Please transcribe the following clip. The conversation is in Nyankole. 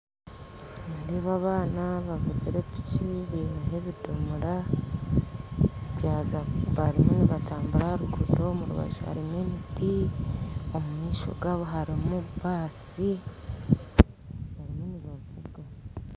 Nindeeba abaana bavugire epiki baineho ebidomora barimu nibatambura ha ruguuto mu rubaju harimu emiti, omu maisho gabo harimu basi barimu nibavuga